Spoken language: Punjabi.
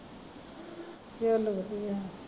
ਚੱਲ ਵਧੀਆ